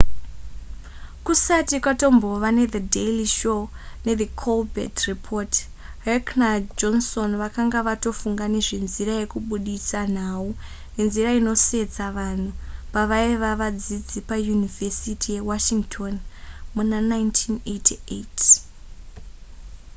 kusati kwatombova nethe daily show nethe colbert report heck najohnson vakanga vatofunga nezvenzira yekubudisa nhau nenzira inosetsa vanhu pavaiva vadzidzi payunivhesity yewashington muna 1988